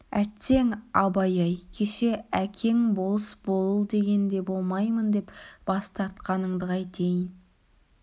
әттең абай-ай кеше әкең болыс бол дегенде болмаймын деп бас тартқаныңды қайтейін